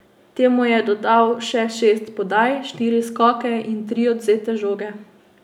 Temu je dodal še šest podaj, štiri skoke in tri odvzete žoge.